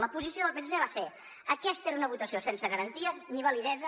la posició del psc va ser aquesta era una votació sense garanties ni validesa